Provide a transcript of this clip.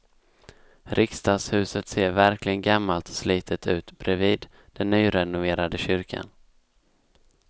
Riksdagshuset ser verkligen gammalt och slitet ut bredvid den nyrenoverade kyrkan.